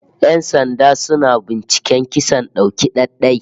Yan sanda suna binciken kisan dauki ɗai-ɗai